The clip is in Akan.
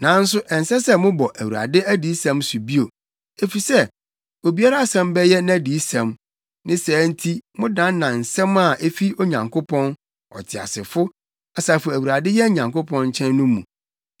Nanso ɛnsɛ sɛ mobɔ ‘ Awurade adiyisɛm’ so bio; efisɛ obiara asɛm bɛyɛ nʼadiyisɛm, ne saa nti modannan nsɛm a efi Onyankopɔn, Ɔteasefo, Asafo Awurade yɛn Nyankopɔn nkyɛn no mu.